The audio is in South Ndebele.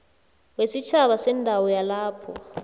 wesitjhaba sendawo yalapho